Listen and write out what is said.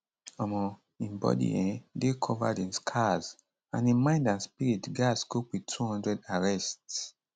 um im body um dey covered in scars and im mind and spirit gatz cope wit 200 arrests